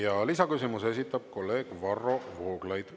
Ja lisaküsimuse esitab kolleeg Varro Vooglaid.